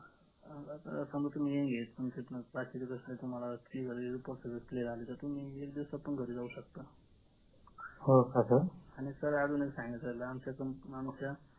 समजा तुम्ही young आहेत तुम्ही एक दिवसातून घरी जाऊ शकता आणि sir अजून एक सांगायचं राहिलं